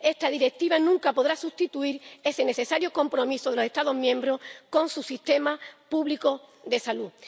Esta Directiva nunca podrá sustituir ese necesario compromiso de los Estados miembros con su sistema público de salud.